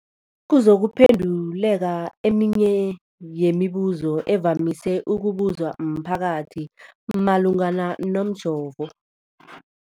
kuzokuphe nduleka eminye yemibu zo evamise ukubuzwa mphakathi malungana nomjovo.